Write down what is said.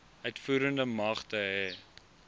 uitvoerende magte hê